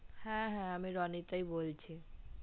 হ্যা হ্যা আমি রণিতাই বলছি